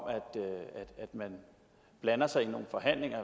at man blander sig i nogle forhandlinger